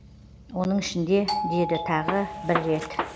оның ішінде деді тағы бір рет